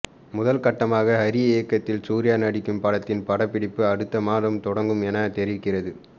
முதல்கட்டமாக ஹரி இயக்கத்தில் சூர்யா நடிக்கும் படத்தின் படப்பிடிப்பு அடுத்த மாதம் தொடங்கும் என தெரிகிறது